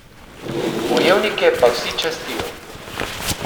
Bojevnike pa vsi častijo.